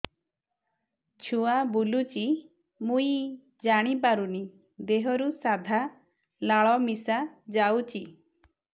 ଛୁଆ ବୁଲୁଚି ମୁଇ ଜାଣିପାରୁନି ଦେହରୁ ସାଧା ଲାଳ ମିଶା ଯାଉଚି